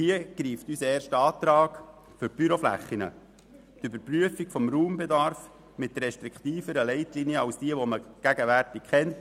Hier greift unser erster Antrag betreffend die Büroflächen und die Überprüfung des Raumbedarfs mit restriktiveren Leitlinien als den gegenwärtig bekannten.